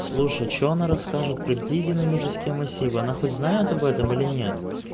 слушай что она расскажет про какие динамические массивы она хоть знает об этом или нет